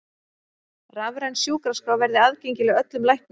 Rafræn sjúkraskrá verði aðgengileg öllum læknum